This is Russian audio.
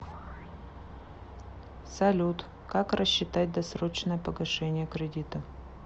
салют как рассчитать досрочное погашение кредита